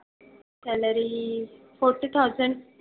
Salary forty thousand.